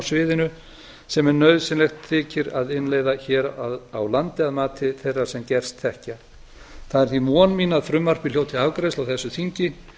sviðinu sem nauðsynlegt þykir að innleiða hér á landi að mati þeirra sem gerst þekkja það er því von mín að frumvarpið hljóti afgreiðslu á þessu þingi